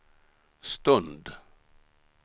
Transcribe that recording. stund